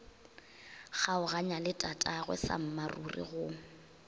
kgaoganya le tatagwe sammaruri go